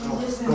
Gəlirəm.